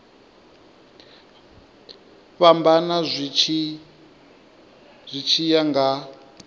fhambana zwi tshi ya nga